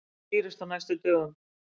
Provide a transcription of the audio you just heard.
Það skýrist á næstu dögum.